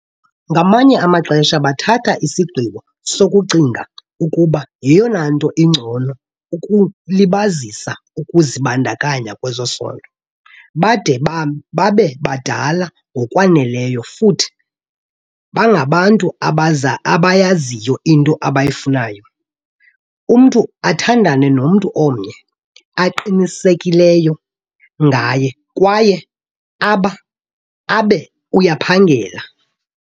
Ngamanye amaxesha bathatha isigqibo sokucinga ukuba yeyona nto ingcono ukulibazisa ukuzibandakanya kwezesondo bade babe badala ngokwaneleyo, futhi bangabantu abayaziyo into abayifunayo, umntu athandane nomntu omnye aqinisekileyo ngaye kwaye abe uyaphangela.